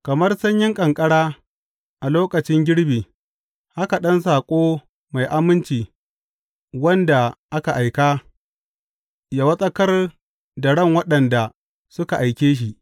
Kamar sanyin ƙanƙara a lokacin girbi haka ɗan saƙo mai aminci wanda aka aika; ya wartsakar da ran waɗanda suka aike shi.